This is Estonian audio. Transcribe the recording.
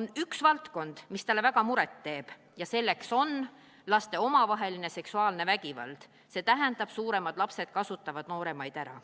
on üks valdkond, mis talle väga muret teeb, laste omavaheline seksuaalne vägivald – see tähendab, et suuremad lapsed kasutavad nooremaid ära.